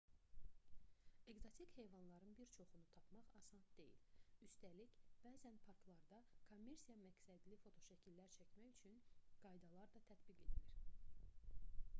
ekzotik heyvanların bir çoxunu tapmaq asan deyil üstəlik bəzən parklarda kommersiya məqsədli fotoşəkillər çəkmək üçün qaydalar da tətbiq edilir